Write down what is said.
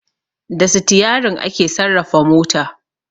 Da Sitiyarin ake sarrafa mota